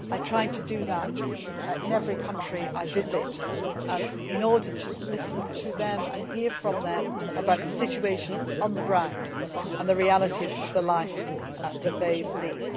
I try to do that in every country I visit in order to listen to them and hear from them about the situation on the ground and the realities of the life that they lead.